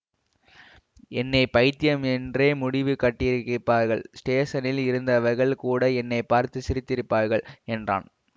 என்னை பைத்தியம் என்றே முடிவு கட்டியிருப்பார்கள் ஸ்டேஷனில் இருந்தவர்கள் கூட என்னை பார்த்து சிரித்திருப்பார்கள் என்றான்